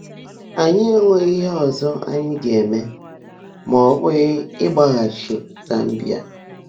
Ányị́ énweghị́ íhe ọ́zọ́ ányị́ gá-èmè má ọ́ bụ́ghị́ ị́gbágháchi Zámbíà.